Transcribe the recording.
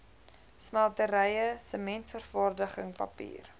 smelterye sementvervaardiging papier